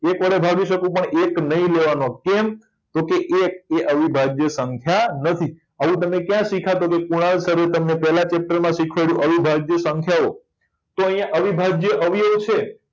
એક વડે ભાગી શકું પણ એક નહી લેવા નો કેમ તો કે એક એ અવિભાજ્ય સંખ્યા નથી અવિભાજ્ય ક્યા શીખ્યા પેલા ચિત્ર માં શીખવાડ્યું તમને અવિભાજ્ય સંખ્યા ઓ તો અહિયાં અવિભાજ્ય અવયવો છે